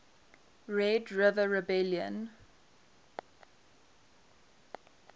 red river rebellion